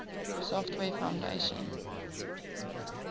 software foundation